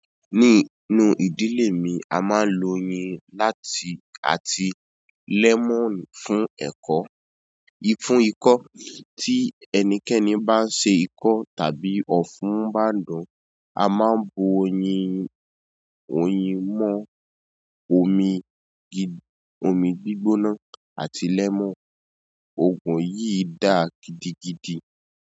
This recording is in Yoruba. Ní inú ìdílé mi, a máa ń lo oyin láti àti lẹ́mọ̀nù fún ẹ̀kọ́, fún ikọ́. Tí ẹnikẹ́ni bá ń ṣe ikọ́ tàbí ọ̀fún bá ń dùn, a máa ń bu oyin, oyin mọ́, omi gi, omi gbígbóná àti lẹ́mọ̀nù. Òògùn yìí dáa gidigidi.